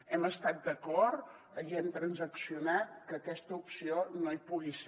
hem estat d’acord i hem transaccionat que aquesta opció no hi pugui ser